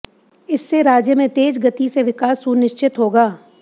इससे राज्य में तेज गति से विकास सुनिश्चित होगा